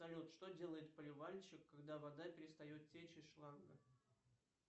салют что делает поливальщик когда вода перестает течь из шланга